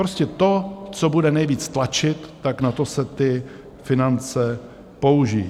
Prostě to, co bude nejvíc tlačit, tak na to se ty finance použijí.